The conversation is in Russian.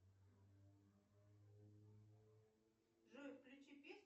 джой включи песню